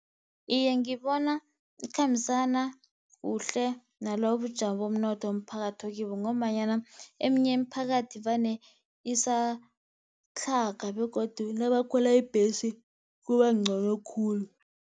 Iye, ngibona ikhambisana kuhle nalobubujamo bomnotho umphakathi okibo, ngombanyana eminye imiphakathi vane isatlhaga, begodu nabakhwela ibhesi kubancono khulu.